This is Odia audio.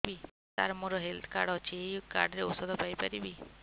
ସାର ମୋର ହେଲ୍ଥ କାର୍ଡ ଅଛି ଏହି କାର୍ଡ ରେ ଔଷଧ ପାଇପାରିବି